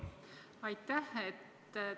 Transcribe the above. Aitäh!